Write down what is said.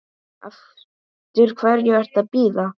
Eftir hverju ertu að bíða?